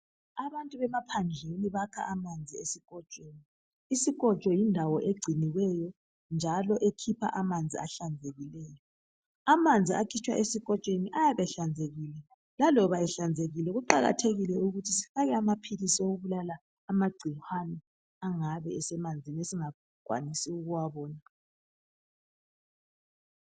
Abantu bemaphandleni bakha amanzi esikotsho isikotsho isikotsho yindawo engciniweyo njalo ekhipha amanzi uhlambulukileyo amanzi akhitshwa esikotshweni ayabe ehlanzekile laloba ehlanzekile kuqakathekile ukuthi sifake amapills abulala amagcikwane angabe esemanzini esingakwanisi ukuwabona